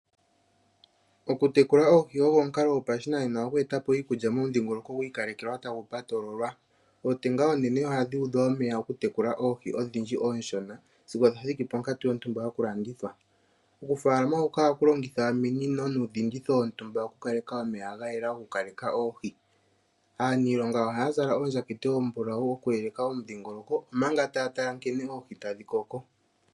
Okutekula oohi ogo omukalo gopashinanena gokweeta po iikulya momudhingoloko gwi ikalekelwa tagu patololwa. Ootenga oonene ohadhi udhwa omeya okutekula oohi odhindji oonshona, sigo dha thiki ponkatu yontumba yokulandithwa. Okufaalama huka ohaku longitha ominino nuudhinditho wontumba okukaleka omeya ga yela gokukaleka oohi. Aaniilonga ohaa zala oondjakete oombulawu okuyeleka omudhingoloko, omanga taa tala nkene oohi tadhi koko.